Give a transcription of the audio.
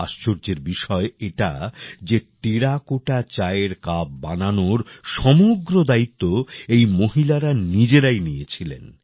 আশর্যের বিষয় এটা যে টেরাকোটা চায়ের কাপ বানানোর সমগ্র দায়িত্ব এই মহিলারা নিজেরাই নিয়েছিলেন